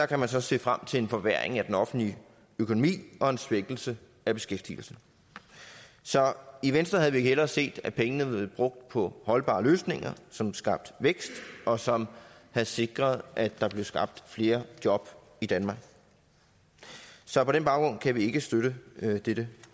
kan man så se frem til en forværring af den offentlige økonomi og en svækkelse af beskæftigelsen så i venstre havde vi hellere set at pengene var blevet brugt på holdbare løsninger som skabte vækst og som havde sikret at der blev skabt flere job i danmark så på den baggrund kan vi ikke støtte dette